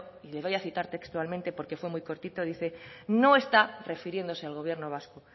y le voy a citar textualmente porque fue muy cortito dice no está refiriéndose al gobierno vasco